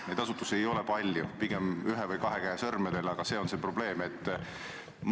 Neid asutusi ei ole palju, neid saab üles lugeda pigem ühe või kahe käe sõrmedel, aga see on see probleem.